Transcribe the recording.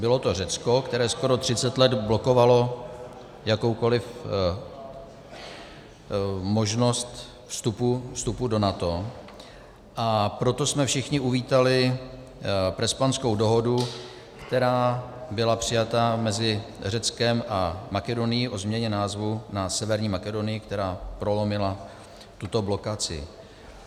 Bylo to Řecko, které skoro 30 let blokovalo jakoukoliv možnost vstupu do NATO, a proto jsme všichni uvítali Prespanskou dohodu, která byla přijata mezi Řeckem a Makedonií o změně názvu na Severní Makedonii, které prolomila tuto blokaci.